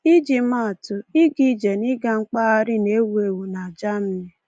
Iji maa atụ, ịga ije na ịga mkpagharị na-ewu ewu na Germany.